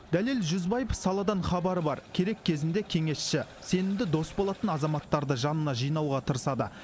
дәлел жүзбаев саладан хабары бар керек кезінде кеңесші сенімді дос болатын азаматтарды жанына жинауға тырысады